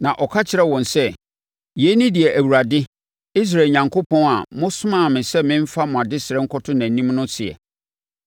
Na ɔka kyerɛɛ wɔn sɛ, “Yei ne deɛ Awurade, Israel Onyankopɔn a mosomaa me sɛ memfa mo adesrɛ nkɔto nʼanim no seɛ: